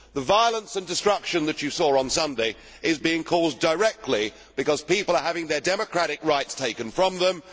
The violence and destruction that you saw on Sunday is being caused directly because people are having their democratic rights taken from them